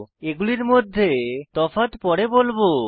এগুলির মধ্যে তফাৎ পরে বলবো